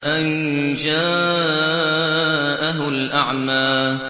أَن جَاءَهُ الْأَعْمَىٰ